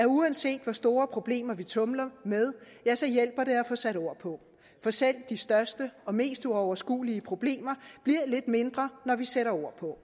uanset hvor store problemer vi tumler med hjælper at få sat ord på for selv de største og mest uoverskuelige problemer bliver lidt mindre når vi sætter ord på